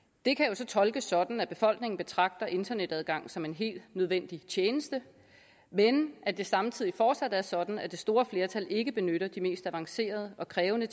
så tolkes sådan at befolkningen betragter en internetadgang som en helt nødvendig tjeneste men at det samtidig fortsat er sådan at det store flertal ikke benytter de mest avancerede og krævende